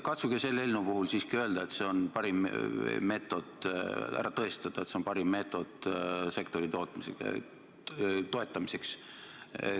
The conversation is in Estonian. Katsuge selle eelnõu puhul siiski ära tõestada, et see on parim meetod sektori toetamiseks.